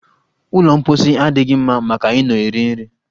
Ụlọ mposi adịghị mma maka ị nọ eri nri